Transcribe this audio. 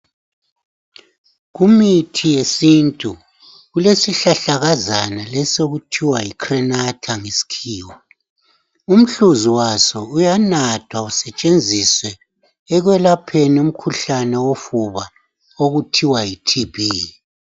Kumithi yesintu kulesihlahlakazana esithiwa yi crenata ngesikhiwa umhluzi waso uyanathwa usetshenziswa ekwelapheni umkhuhlane wofuba okuthiwa yi TB